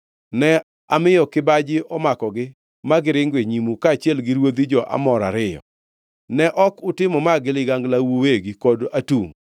Ne amiyo kibaji omakogi ma giringo e nyimu, kaachiel gi ruodhi jo-Amor ariyo. Ne ok utimo ma gi liganglau uwegi kod atungʼ.